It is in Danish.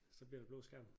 Så bliver der blå skærm